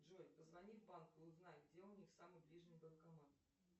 джой позвони в банк и узнай где у них самый ближний банкомат